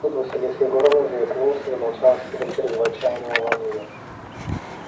тут василиса егоровна заикнулась и замолчала с видом чрезвычайного волнения